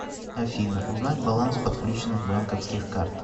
афина узнать баланс подключенных банковских карт